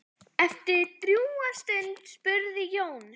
Eftir drjúga stund spurði Jón